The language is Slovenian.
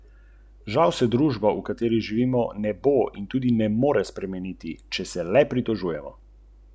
Strašansko hitri kot kakšno manjše letalo, skorajda na sekundo točni kot švicarske ure in zanesljivi kot nemški avtomobili.